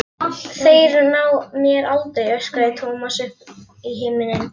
Þeir ná mér aldrei! öskraði Thomas upp í himininn.